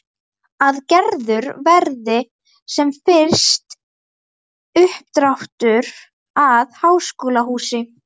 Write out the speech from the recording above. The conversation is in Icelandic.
Að gerður verði sem fyrst uppdráttur að háskólahúsi.